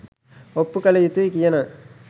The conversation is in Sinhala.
ඔප්පු කල යුතුයි කියන